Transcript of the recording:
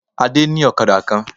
Adé ní òkadà kan